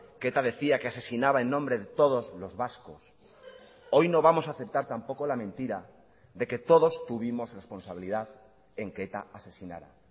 que eta decía que asesinaba en nombre de todos los vascos hoy no vamos a aceptar tampoco la mentira de que todos tuvimos responsabilidad en que eta asesinara